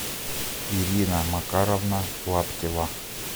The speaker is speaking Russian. ирина макаровна лаптева